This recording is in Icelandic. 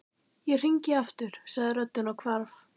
Ég hringi aftur sagði röddin og hvarf.